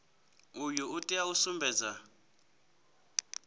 uyu u tea u sumbedza